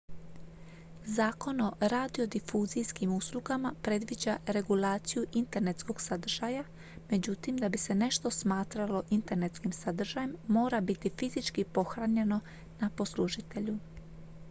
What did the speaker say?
zakon o radiodifuzijskim uslugama predviđa regulaciju internetskog sadržaja; međutim da bi se nešto smatralo internetskim sadržajem mora biti fizički pohranjeno ​​na poslužitelju